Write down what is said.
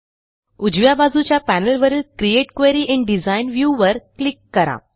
उजव्या बाजूच्या पॅनेलवरील create query in design view वर क्लिक करा